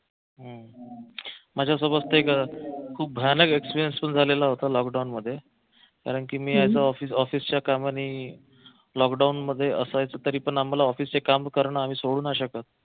माझ्या सोबत एक खूप भयानक experience सुरु झालेला होता लॉकडाऊनमध्ये कारंकी मी ऑफिसच्या कामाने लॉकडाऊनमध्ये असायचो तरी पण आम्हाला ऑफिसचे काम करणं आम्ही सोडू नाही शकत